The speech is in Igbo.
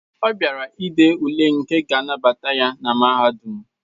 Ọ bịara dee ule nke ga-anabata ya na Mahadum